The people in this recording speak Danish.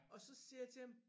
Og så siger jeg til ham